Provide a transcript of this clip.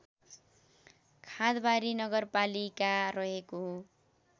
खादवारी नगरपालिका रहेको